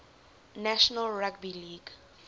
national rugby league